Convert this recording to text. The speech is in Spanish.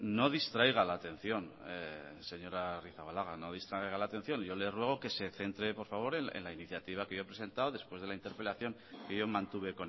no distraiga la atención señora arrizabalaga no distraiga la atención yo le ruego que se centre por favor en la iniciativa que yo he presentado después de la interpelación que yo mantuve